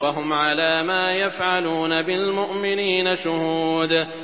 وَهُمْ عَلَىٰ مَا يَفْعَلُونَ بِالْمُؤْمِنِينَ شُهُودٌ